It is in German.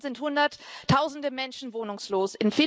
In Deutschland sind hunderttausende Menschen wohnungslos.